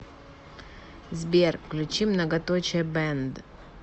сбер включи многоточие бэнд